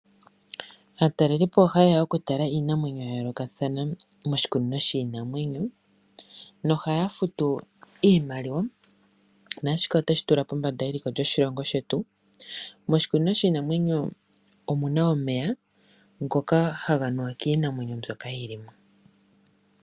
Aatalelipo oha yeya okutala iinamwenyo yayoloka thana moshikunino shiinamwenyo no haya futu iimaliwa nashika otoshi tula pombanda yeliko lyoshilongo shetu moshikunino shiinamwenyo omuna omeya ngoka haga nuwa kiinamwenyo mbyoka yili mo.